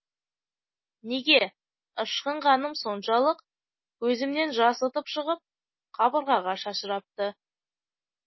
неге ышқынғаным соншалық көзімнен жас ытып шығып қабырғаға шашырапты